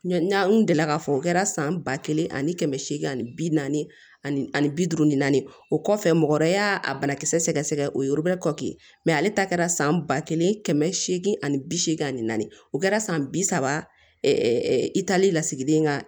N'an kun delila k'a fɔ o kɛra san ba kelen ani kɛmɛ seegin ani bi naani ani bi duuru ni naani o kɔfɛ mɔgɔ wɛrɛ y'a a banakisɛ sɛgɛsɛgɛ o ye kɔli ale ta kɛra san ba kelen kɛmɛ seegin ani bi seegin ani naani o kɛra san bi saba i taali la sigiden kan